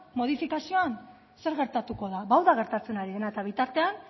modifikazioan zer gertatuko da ba hau da gertatzen ari dena eta bitartean